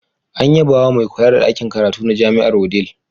An yabawa mai kula da ɗakin karatu na Jami'ar Wudil.